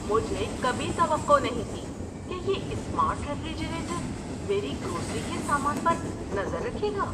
مجھے کبھی توقع نہیں تھی کہ یہ اسمارٹ ریفریجریٹر میری گروسری کے سامان پر نظر رکھے گا۔